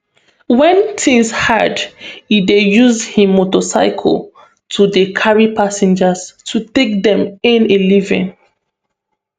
wen tins hard e dey use im motorcycle to dey carry passengers to take dey earn a living